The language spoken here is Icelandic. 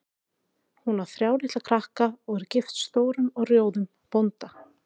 Hún á þrjá litla krakka og er gift stórum og rjóðum bónda.